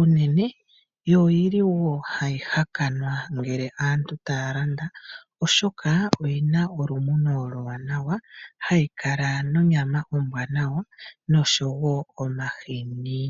unene, yo ohayi hakanwa ngele aantu taya landa, oshoka oyi na olumuno oluwanawa, hayi kala nonyama ombwanawa noshowo omahini.